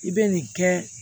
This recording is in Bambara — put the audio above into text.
I bɛ nin kɛ